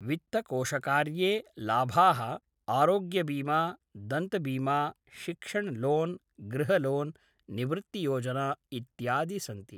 वित्तकोशकार्ये लाभाः आरोग्यबीमा दन्तबीमा शिक्षणलोन्‌ गृहलोन्‌ निवृत्तियोजना इत्यादि सन्ति